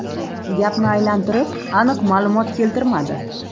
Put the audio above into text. Gapni aylantirib, aniq ma’lumot keltirmadi.